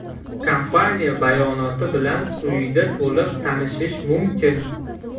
Kompaniya bayonoti bilan quyida to‘liq tanishish mumkin.